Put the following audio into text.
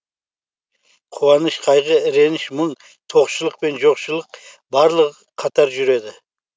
қуаныш қайғы реніш мұң тоқшылық пен жоқшылық барлығы қатар жүреді